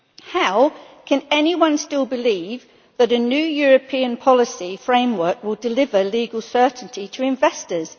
How can anyone still believe that a new European policy framework would deliver legal certainty to investors?